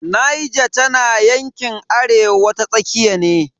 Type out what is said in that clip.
Niger tana yankin arewa ta tsakiya ne.